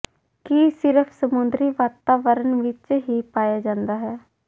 ਕੀ ਸਿਰਫ ਸਮੁੰਦਰੀ ਵਾਤਾਵਰਨ ਵਿਚ ਹੀ ਪਾਇਆ ਜਾਂਦਾ ਹੈ